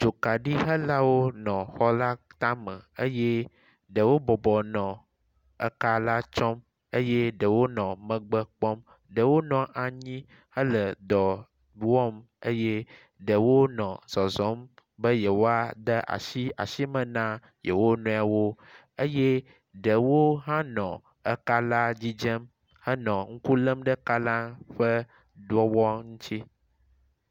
dzokaɖi helawo le xɔla táme eye ɖewo bɔbɔ nɔ eka la tsɔm eye ɖewo nɔ megbe kpɔm ɖewo nɔ anyi hele dɔ wɔm eye ɖewo nɔ zɔzɔm be yewoade asi asiíme na yewonɔewo eye ɖewo hã nɔ ekala dzidzem henɔ ŋku lem ɖe kala ƒe wɔwɔ ŋtsi